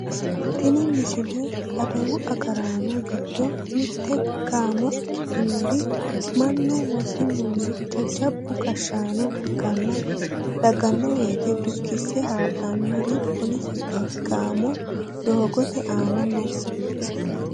tini misile adawu agaraano giddo mitte gaamo ikkitinori mannu wosinunna jajjabba gashshaano dagganno woyiite dukkise haadhannori poolisete gaamo doogote aana no